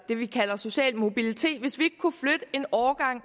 det vi kalder social mobilitet